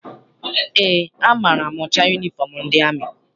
Eé, amaara m ụcha yunifọm ndị amị.